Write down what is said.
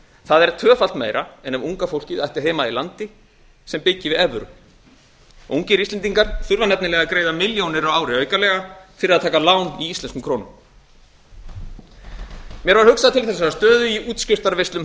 það er tvöfalt meira en ef unga fólkið ætti heima í landi sem byggir við evru ungir íslendingar þurfa nefnilega að greiða milljónir á ári aukalega fyrir að taka lán í íslenskum krónum mér var hugsað til þessarar stöðu í útskriftarveislum